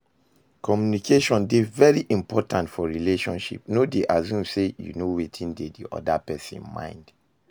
Communication dey very important for relationship, no dey assume sey you know wetin dey di oda person mind